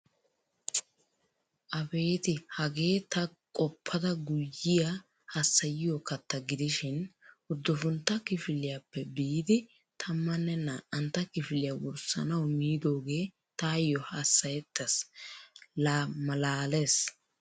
Abeti hage ta qoppada guyiya hassayiyo katta gidishin uddufuntta kifiliyappe biidi tammanne naa'antta kifiliyaa wurssanawu miidoge tayo hassayetees. La maalaalees.